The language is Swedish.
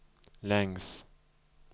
längs